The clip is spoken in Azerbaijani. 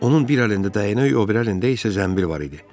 Onun bir əlində dəynək, o biri əlində isə zənbil var idi.